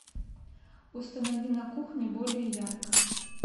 установи на кухне более ярко